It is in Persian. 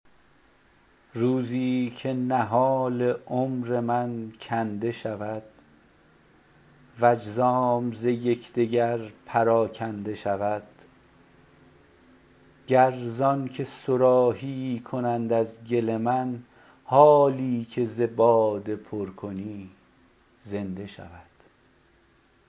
روزی که نهال عمر من کنده شود و اجزام ز یک دگر پراکنده شود گر زان که صراحیی کنند از گل من حالی که ز باده پر کنی زنده شود